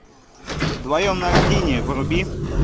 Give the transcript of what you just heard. вдвоем на льдине вруби